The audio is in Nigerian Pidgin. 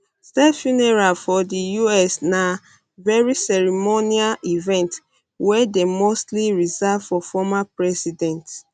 state funeral for di us na very ceremonial event wey dey mostly reserved for former president